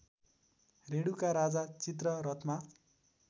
रेणुका राजा चित्ररथमा